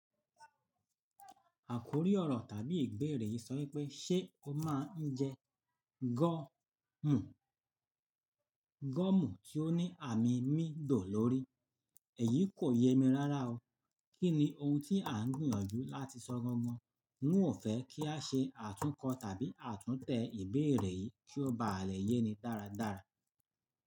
Àkórí ọ̀rọ̀ tàbí ìbeérè yìí sọ wípé “ṣé o máa ń jẹ gọ́mù tí ó ní àmì mi dò lórí?” Èyí kò yé mi rárá o. Kí ni ohun tí à ń gbìyànjú láti sọ gangan? N ò fẹ́ kí a ṣe àtúnkọ tàbí àtúntẹ̀ ìbeérè yìí kí ó bá à lè yé ni dáradára.